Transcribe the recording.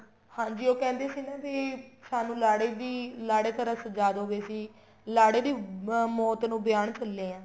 ਹਾਂਜੀ ਉਹ ਕਹਿੰਦੇ ਸੀ ਨਾ ਵੀ ਸਾਨੂੰ ਲਾੜੇ ਦੀ ਲਾੜੇ ਤਰ੍ਹਾਂ ਸ੍ਝਾਦੋ ਵੀ ਅਸੀਂ ਲਾੜੇ ਦੀ ਮੋਤ ਨੂੰ ਵਿਆਉਣ ਚੱਲੇ ਆ